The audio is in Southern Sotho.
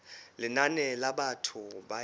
lenane la batho ba e